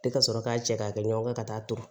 Tɛ ka sɔrɔ k'a cɛ ka kɛ ɲɔgɔn kan ka taa ton